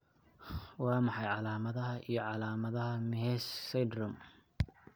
Waa maxay calaamadaha iyo calaamadaha Mehes syndrome?